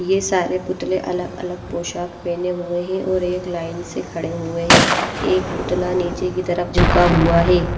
ये सारे पुतले अलग-अलग पोशाक पहने हुए है और एक लाइन से खड़े हुए है एक पुतला नीचे की तरफ झुका हुआ है।